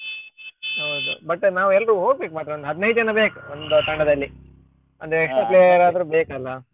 ಹೌದೌದು but ನಾವು ಎಲ್ರು ಹೋಗ್ಬೇಕು ಮಾತ್ರ ಒಂದು ಹದಿನೈದು ಜನ ಬೇಕು ಒಂದು ತಂಡದಲ್ಲಿ ಅಂದ್ರೆ extra player ಆದ್ರು ಬೇಕಲ್ಲ.